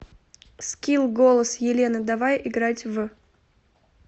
скилл голос елены давай играть в